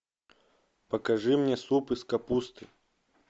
покажи мне суп из капусты